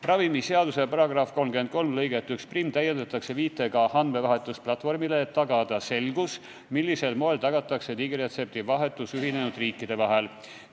Ravimiseaduse § 33 lõiget 11 täiendatakse viitega andmevahetusplatvormile, et tagada selgus, millisel moel tagatakse digiretseptivahetus ühinenud riikide vahel.